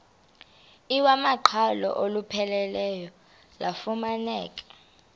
iwamaqhalo olupheleleyo lufumaneka